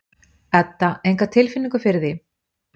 Edda: Enga tilfinningu fyrir því?